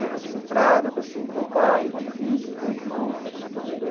Uma pessoa centrada, uma pessoa, um bom pai, um bom filho, um bom irmão.